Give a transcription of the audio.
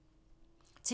TV 2